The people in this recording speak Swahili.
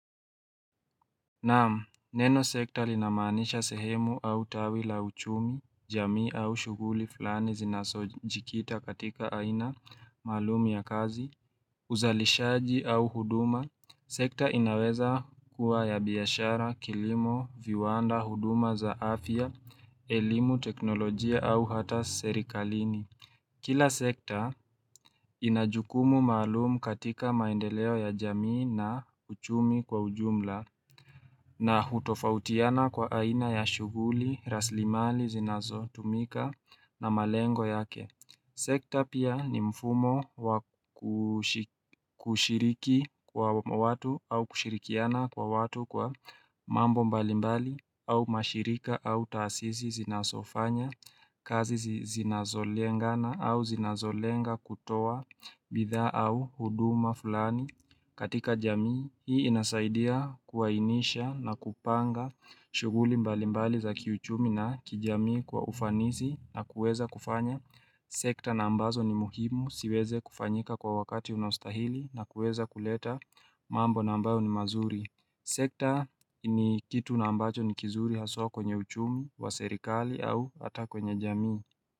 Namu, neno sekta linamanisha sehemu au tawila uchumi, jamii au shuguli fulani zinasojikita katika aina malumi ya kazi, uzalishaji au huduma. Sekta inaweza kuwa ya biyashara, kilimo, viwanda, huduma zaafia, elimu, teknolojia au hata serikalini. Kila sekta inajukumu malumu katika maendeleo ya jamii na uchumi kwa ujumla na hutofautiana kwa aina ya shuguli, raslimali, zinazo tumika na malengo yake. Sekta pia ni mfumo kushiriki kwa watu au kushirikiana kwa watu kwa mambo mbali mbali au mashirika au tasizi zinasofanya kazi zinazolengana au zinazolenga kutoa bidhaa au huduma fulani katika jamii. Hii inasaidia kuwainisha na kupanga shuguli mbali mbali za kiuchumi na kijamii kwa ufanisi na kueza kufanya sekta na ambazo ni muhimu siweze kufanyika kwa wakati unastahili na kueza kuleta mambo na ambayo ni mazuri sekta ni kitu na ambacho ni kizuri hasoa kwenye uchumi wa serikali au hata kwenye jamii.